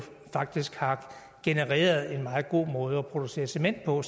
faktisk har genereret en meget god måde at producere cement på